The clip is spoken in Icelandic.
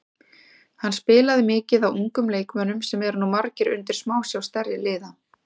Hann spilaði mikið á ungum leikmönnum sem eru nú margir undir smásjá stærri liða.